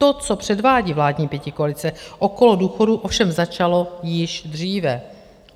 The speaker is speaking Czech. To, co předvádí vládní pětikoalice okolo důchodů, ovšem začalo již dříve.